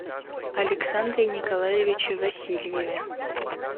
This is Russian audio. александре николаевиче васильеве